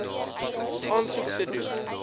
aansoek te doen